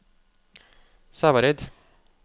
Sævareid